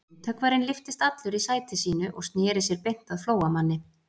Myndhöggvarinn lyftist allur í sæti sínu og sneri sér beint að Flóamanni.